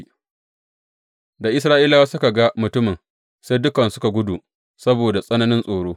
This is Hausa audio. Da Isra’ilawa suka ga mutumin, sai dukansu suka gudu saboda tsananin tsoro.